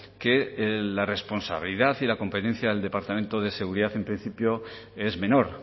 que la responsabilidad y la competencia del departamento de seguridad en principio es menor